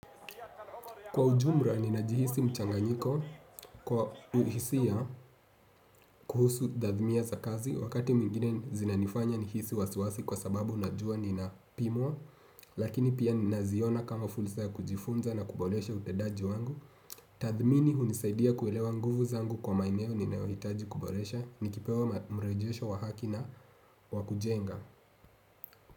Kwa ujumra ninajihisi mchanganyiko kwa uhisia kuhusu tadhmiya za kazi. Wakati mwingine zinanifanya nihisi wasiwasi kwa sababu najua nina pimwa. Lakini pia naziona kama fursa ya kujifunza na kubolesha utedaji wangu. Tadhmini hunisaidia kuelewa nguvu zangu kwa maeneo ninayo hitaji kuboresha. Nikipewa mrejesho wa haki na wakujenga.